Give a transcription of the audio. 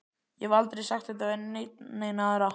Ég hef aldrei sagt þetta við neina aðra.